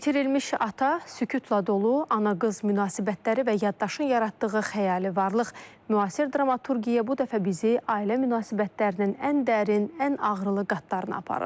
İtirilmiş ata, sükutla dolu ana-qız münasibətləri və yaddaşın yaratdığı xəyali varlıq, müasir dramaturgiya bu dəfə bizi ailə münasibətlərinin ən dərin, ən ağrılı qatlarını aparır.